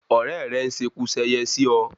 Òrẹ́ rẹ́ n seku seye sí ọ